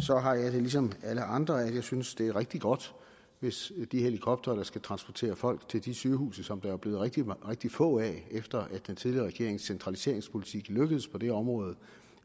så har jeg det ligesom alle andre at jeg synes at det er rigtig godt hvis de helikoptere der skal transportere folk til de sygehuse som der jo er blevet rigtig rigtig få af efter at den tidligere regerings centraliseringspolitik lykkedes på det område